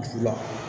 Juru la